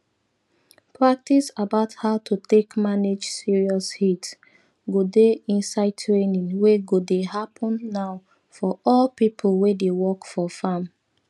practice about how to take manage serious heat go dey inside training wey go dey happen now for all pipo wey dey work for farm